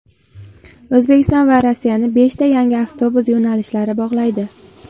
O‘zbekiston va Rossiyani beshta yangi avtobus yo‘nalishlari bog‘laydi.